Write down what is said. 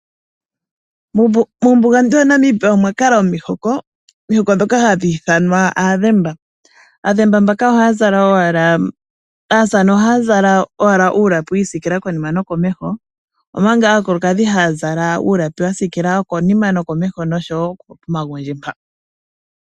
Muumbugantu waNamibia omwa kala omiihoko. Oomihoko dhoka hadhi ithanwa aadhemba. Aadhemba mbaka ohaya zala owala aasamane oha zala uulapi wiisikila konima nokomeho. Omanga aakulukadhi haya zala wa sikila konima nokomeho noshowo pomagundji mpa.